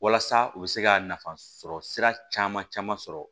Walasa u bɛ se ka nafa sɔrɔ sira caman caman sɔrɔ